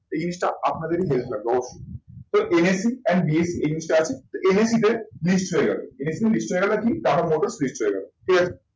এই জিনিসটা আপনাদেরই help লাগবে অবশ্যই তো NSE and BSE এই জিনিসটা আছে। তো NSE তে list হয়ে গেলো NSE list হয়ে গেলো আর কি টাটা মোটরস list হয়ে গেলো ঠিক আছে।